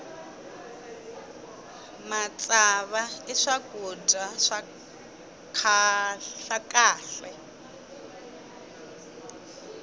matsava i swakudya swa kahle